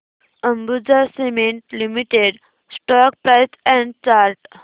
Ambuja cement limited stock price and chart